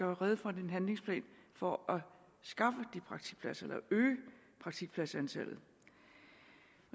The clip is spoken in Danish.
rede for en handlingsplan for at skaffe de praktikpladser eller øge praktikpladsantallet